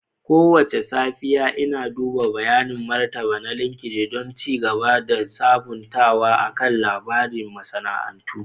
Kowace safiya, Ina duba bayanin martaba na LinkedIn don ci gaba da sabuntawa akan labaran masana'antu.